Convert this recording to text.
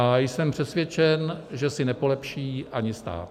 A jsem přesvědčen, že si nepolepší ani stát.